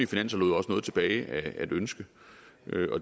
finanser lod også noget tilbage at ønske